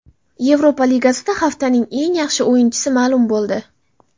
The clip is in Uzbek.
Yevropa Ligasida haftaning eng yaxshi o‘yinchisi ma’lum bo‘ldi.